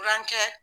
Kurancɛ